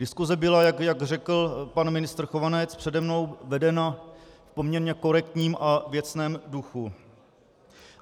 Diskuse byla, jak řekl pan ministr Chovanec přede mnou, vedena v poměrně korektním a věcném duchu.